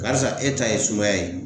Karisa e ta ye sumaya ye.